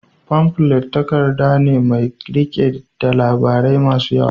Famflet takarda ne ƙarami mai riƙe da labarai masu yawa.